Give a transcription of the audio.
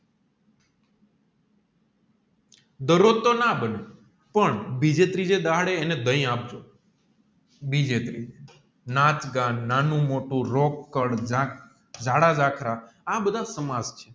દરોજ તોહ ના બને પણ બીજે દહાડે એને ડાહી આપજો બીજે નાખ નાનું મોટું જાડા જખરા આ બધા સમાજ છે